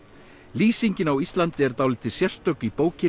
lýsingin á Íslandi er dálítið sérstök í bókinni